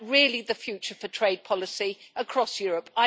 Is that really the future for trade policy across Europe?